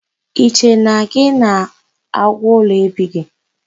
I che na gị na agwu ụlọ ebighị?